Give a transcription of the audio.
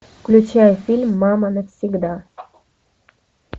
включай фильм мама навсегда